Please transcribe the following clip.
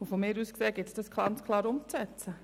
Von mir aus gilt es, diesen Entscheid klar umzusetzen.